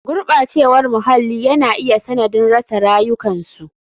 Gurɓacewar muhalli yana iya sanadin rasa rayukansu.